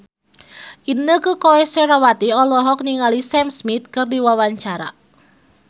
Inneke Koesherawati olohok ningali Sam Smith keur diwawancara